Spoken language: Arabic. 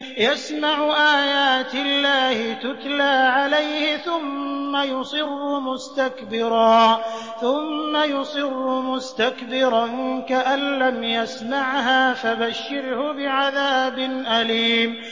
يَسْمَعُ آيَاتِ اللَّهِ تُتْلَىٰ عَلَيْهِ ثُمَّ يُصِرُّ مُسْتَكْبِرًا كَأَن لَّمْ يَسْمَعْهَا ۖ فَبَشِّرْهُ بِعَذَابٍ أَلِيمٍ